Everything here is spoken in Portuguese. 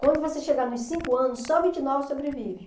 Quando você chegar nos cinco anos, só vinte e nove sobrevive.